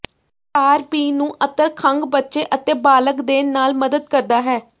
ਤਾਰਪੀਨ ਨੂੰ ਅਤਰ ਖੰਘ ਬੱਚੇ ਅਤੇ ਬਾਲਗ ਦੇ ਨਾਲ ਮਦਦ ਕਰਦਾ ਹੈ